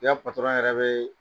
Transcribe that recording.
I patɔrn yɛrɛ bɛ